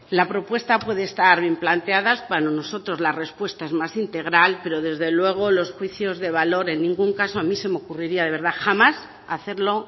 la propuesta puede estar bien planteada para nosotros la respuesta es más integral pero desde luego los juicios de valor en ningún caso a mí se ocurriría de verdad jamás hacerlo